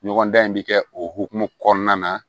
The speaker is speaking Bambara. Ɲɔgɔndan in bɛ kɛ o hokumu kɔnɔna na